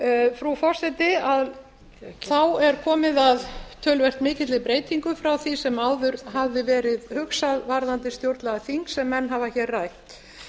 frú forseti þá er komið að töluvert mikilli breytingu frá því sem áður hafði verið hugsað varðandi stjórnlagaþing sem menn hafa hér